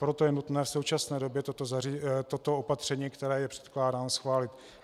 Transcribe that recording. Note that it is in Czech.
Proto je nutné v současné době toto opatření, které je předkládáno, schválit.